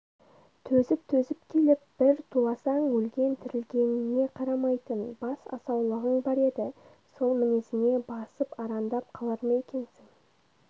төзіп-төзіп келіп бір туласаң өлген-тірілгеніңе қарамайтын бас асаулығың бар еді сол мінезіңе басып арандап қалар ма екенсің